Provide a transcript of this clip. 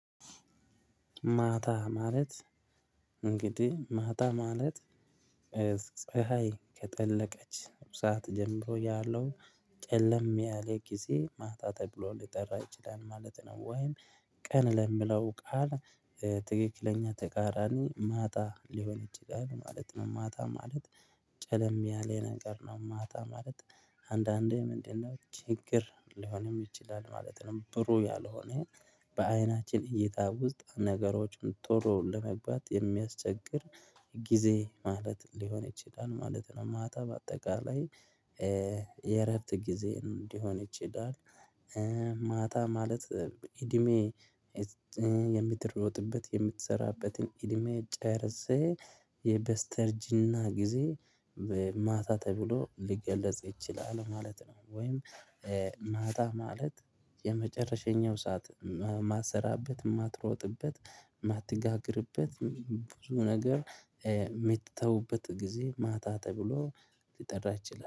ማታ ማለት እንግዲህ ማታ ማለት ፀሀይ ከጠለቀች ሰዓት ጀምሮ ያለው ጨለም ያለ ጊዜ ማታ ተብሎ ሊጠራ ይችላል ማለት ነው። ወይም ቀን ለምለው ቃል ትክክለኛ ተቃራኒ ማጣ ሊሆን ይችላል ማለት ነው። ማጣ ማለት ጨለም ያለ ነገር ነው። ማጣ ማለት አንዳንዴ ምንድነው ችግር ሊሆንም ይችላል ማለት ነው። ብሩ ያልሆነ በአይናችን እይታ ውስጥ ነገሮችን ጥሩ ለመግባት የሚያስቸግር ጊዜ ማለት ሊሆን ይችላል ማለት ነው። ማታ በአጠቃላይ የረርት ጊዜ እንዲሆን ይችላል። ማታ ማለት እድሜ የምትሮጥበት የምትሰራበትን እድሜ ጨርሰህ የበስተርጂና ጊዜ በማታ ተብሎ ሊገለጽ ይችላል ማለት ነው። ወይም ማታ ማለት የመጨረሸኛው ሰዓት የማትሰራበት የማትሮጥበት ማትጋግርበት ብዙ ነገር የምትተውበት ጊዜ ማታ ተብሎ ሊጠራ ይችላል